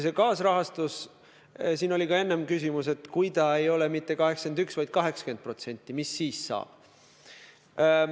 Ja siin oli ka enne küsimus, et kui see kaasrahastus ei ole mitte 81%, vaid 80%, mis siis saab.